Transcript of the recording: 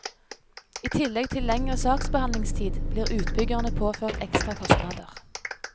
I tillegg til lengre saksbehandlingstid blir utbyggerne påført ekstra kostnader.